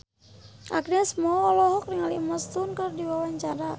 Agnes Mo olohok ningali Emma Stone keur diwawancara